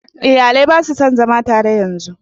Iyalai na su son zama tare yanzu